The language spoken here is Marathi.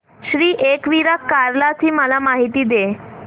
श्री एकविरा कार्ला ची मला माहिती दे